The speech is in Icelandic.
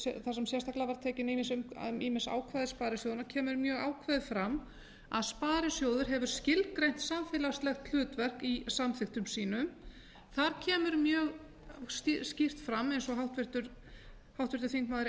þar sem sérstaklega var tekin ýmis ákvæði sparisjóðanna kemur mjög ákveðið fram að sparisjóður hefur skilgreint samfélagslegt hlutverk í samþykktum sínum þar kemur mjög skýrt fram eins og háttvirtur þingmaður